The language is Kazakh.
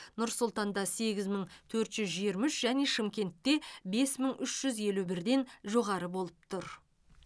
нұр сұлтанда сегіз мың төрт жүз жиырма үш және шымкентте бес мың үш жүз елу бірден жоғары болып тұр